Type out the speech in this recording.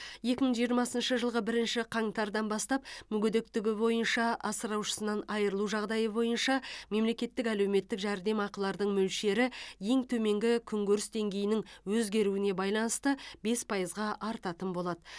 екі мың жиырмасыншы жылғы бірінші қаңтардан бастап мүгедектігі бойынша асыраушысынан айырылу жағдайы бойынша мемлекеттік әлеуметтік жәрдемақылардың мөлшері ең төменгі күнкөріс деңгейінің өзгеруіне байланысты бес пайызға артатын болады